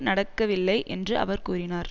நடக்கவில்லை என்று அவர் கூறினார்